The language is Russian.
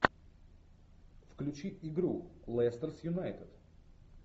включи игру лестер с юнайтед